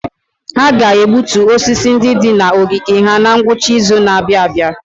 Ha ga-egbutu osisi ndị dị na ogige ha na ngwụcha izu na-abịa.